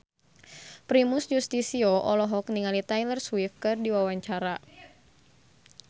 Primus Yustisio olohok ningali Taylor Swift keur diwawancara